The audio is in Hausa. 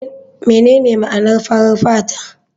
Menene ma'anar farar fata?